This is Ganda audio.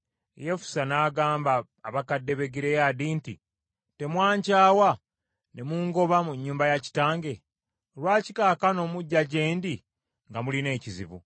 Yefusa n’agamba abakadde b’e Gireyaadi nti, “Temwankyawa ne mungoba mu nnyumba ya kitange? Lwaki kaakano mujja gye ndi nga mulina ekizibu?”